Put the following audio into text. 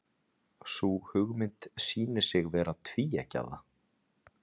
Sú hugmynd sýnir sig vera tvíeggjaða.